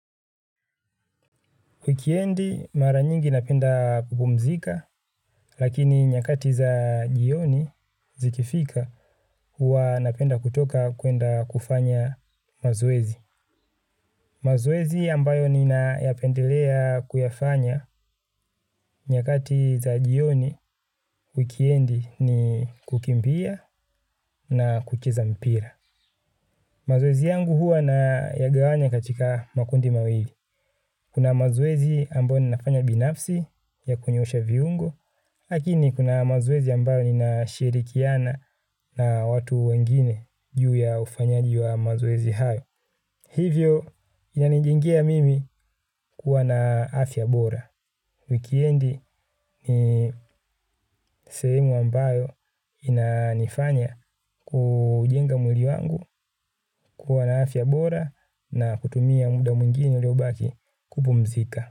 Wikendi mara nyingi napenda kupumzika, lakini nyakati za jioni zikifika huwa napenda kutoka kuenda kufanya mazoezi. Mazoezi ambayo ninayapendelea kuyafanya nyakati za jioni wikendi ni kukimbia na kucheza mpira. Mazoezi yangu huwa nayagawanya katika makundi mawili. Kuna mazwezi ambayo ninafanya binafsi ya kunyoosha viungo, lakini kuna mazoezi ambayo ninashirikiana na watu wengine juu ya ufanyaji wa mazoezi hayo. Hivyo inanijengea mimi kuwa na afya bora. Wikendi ni sehemu ambayo inanifanya kujenga mwili wangu kuwa na afya bora na kutumia muda mwingine uliobaki kupumzika.